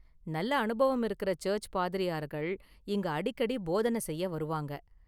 நல்ல அனுபவம் இருக்குற சர்ச்சு பாதிரியார்கள் இங்க அடிக்கடி போதன செய்ய வருவாங்க.